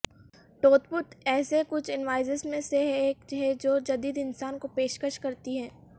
ٹوتپوک ایسے کچھ انوائسز میں سے ایک ہے جو جدید انسان کی پیشکش کرتی ہے